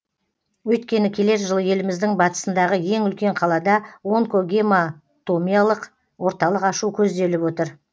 өйткені келер жылы еліміздің батысындағы ең үлкен қалада онкогемотомиялық орталық ашу көзделіп отыр